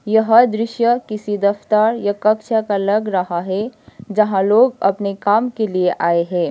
यह दृश्य किसी दफ्तर या कक्ष का लग रहा है जहां लोग अपने काम के लिए आए है।